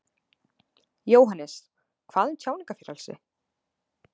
Jóhannes: Hvað um tjáningarfrelsi?